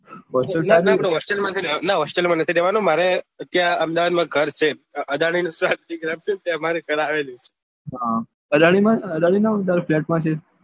ના hostel માં નથી રેહવાનું મારે ત્યાં અહેમદાબાદ માં ઘર છે ત્યાં અમારે ઘર આવે છે અદાની ના flate માં છે